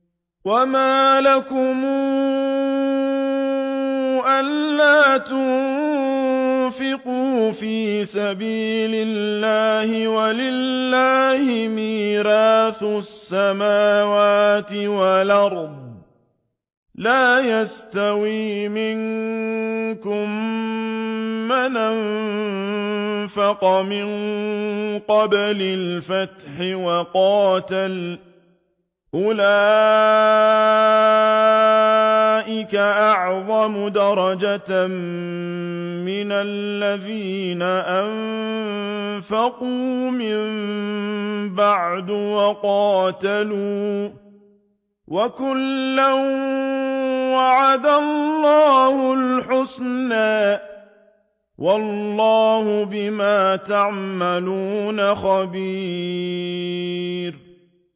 وَمَا لَكُمْ أَلَّا تُنفِقُوا فِي سَبِيلِ اللَّهِ وَلِلَّهِ مِيرَاثُ السَّمَاوَاتِ وَالْأَرْضِ ۚ لَا يَسْتَوِي مِنكُم مَّنْ أَنفَقَ مِن قَبْلِ الْفَتْحِ وَقَاتَلَ ۚ أُولَٰئِكَ أَعْظَمُ دَرَجَةً مِّنَ الَّذِينَ أَنفَقُوا مِن بَعْدُ وَقَاتَلُوا ۚ وَكُلًّا وَعَدَ اللَّهُ الْحُسْنَىٰ ۚ وَاللَّهُ بِمَا تَعْمَلُونَ خَبِيرٌ